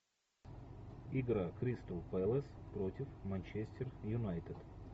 игра кристал пэлас против манчестер юнайтед